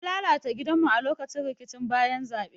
An lalata gidanmu a lokacin rikicin bayan zabe.